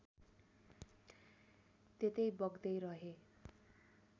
त्यतै बग्दै रहेँ